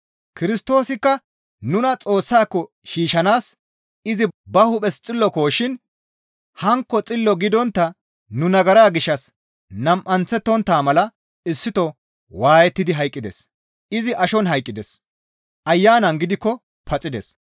Kirstoosikka nuna Xoossaako shiishshanaas izi ba hu7es Xillokoshin hankko Xillo gidontta nu nagara gishshas nam7anththettontta mala issito waayettidi hayqqides. Izi ashon hayqqides; Ayanan gidikko paxides.